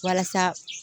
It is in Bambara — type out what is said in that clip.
Walasa